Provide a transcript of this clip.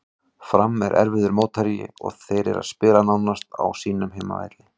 Fram er erfiður mótherji og þeir eru að spila nánast á sínum heimavelli.